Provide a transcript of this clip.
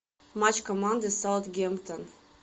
матч команды саутгемптон